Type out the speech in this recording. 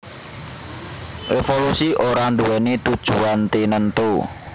Évolusi ora nduwèni tujuan tinentu